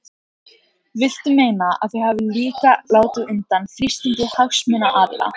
Viltu meina að þau hafi líka látið undan þrýstingi hagsmunaaðila?